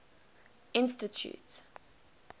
institute